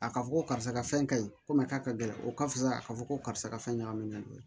A ka fɔ ko karisa ka fɛn ka ɲi komi k'a ka gɛlɛn o ka fisa a ka fɔ ko karisa ka fɛn ɲagaminen don